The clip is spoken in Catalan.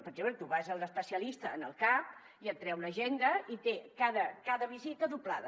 perquè bé tu vas a l’especialista al cap i et treu l’agenda i té cada visita doblada